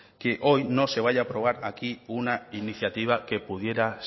que hoy no se vaya a aprobar aquí una iniciativa que pudiera